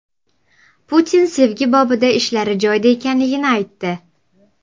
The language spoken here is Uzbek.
Putin sevgi bobida ishlari joyida ekanligini aytdi.